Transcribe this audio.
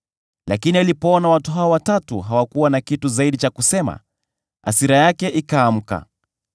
Lakini alipoona watu hao watatu hawakuwa na kitu zaidi cha kusema, hasira yake ikaamka.